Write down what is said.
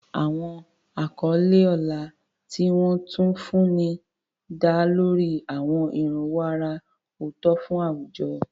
Àwọn àkọlé ọlá ni wọ́n tún fún ní dá lórí àwọn ìrànwọ́ àrà ọ̀tọ̀ fún àwùjọ.